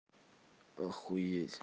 охуеть